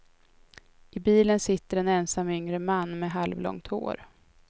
I bilen sitter en ensam yngre man med halvlångt hår.